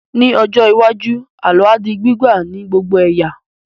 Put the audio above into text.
Ní ọjọ́ iwájú, àlọ́ á di gbígbà ní gbogbo ẹ̀yà